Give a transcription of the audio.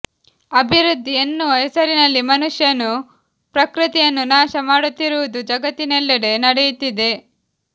ಅಬಿವೃದ್ದಿ ಎನ್ನುವ ಹೆಸರಿನಲ್ಲಿ ಮನುಷ್ಯನು ಪ್ರಕೃತಿಯನ್ನು ನಾಶ ಮಾಡುತ್ತಿರುವುದು ಜಗತ್ತಿನ್ನೆಲ್ಲೆಡೆ ನಡೆಯುತ್ತಿದೆ